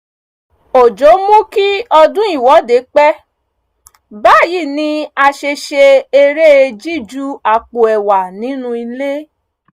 òjò mú kí ọdún ìwọ́de pẹ́ báyìí ni a ṣe ṣe eré jíju àpò ẹ̀wà nínú ilé